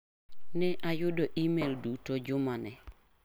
Ne ayudo imel duto juma ni.